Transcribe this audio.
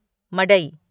मडई